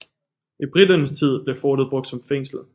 I briternes tid blev fortet brugt som fængsel